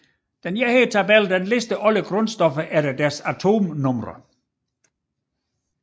Denne tabel lister alle grundstoffer efter deres atomnumre